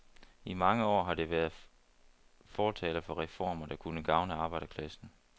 I mange år har det været fortaler for reformer, der kunne gavne arbejderklassen.